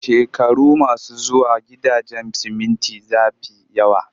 Shekaru masu zuwa, gidajen siminti za fi yawa